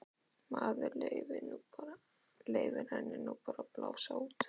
Maður leyfir henni nú bara að blása út.